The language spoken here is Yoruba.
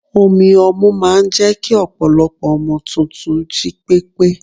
omi ọmu máà ń jẹ́ kí ọpọlọpọ ọmọ tuntun jí pépé